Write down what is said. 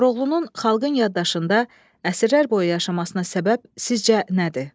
Koroğlunun xalqın yaddaşında əsirlər boyu yaşamasına səbəb sizcə nədir?